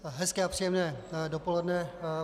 Hezké a příjemné dopoledne.